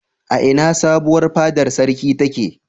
A ina sabuwar fadar sarki take?